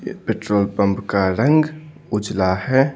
ये petrol pump का रंग उजला है।